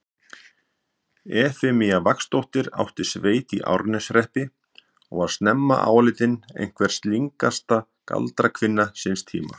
Efemía Vagnsdóttir átti sveit í Árneshreppi og var snemma álitin einhver slyngasta galdrakvinna síns tíma.